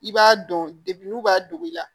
I b'a dɔn n'u b'a dogo i la